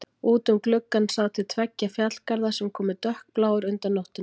Út um gluggann sá til tveggja fjallgarða sem komu dökkbláir undan nóttunni.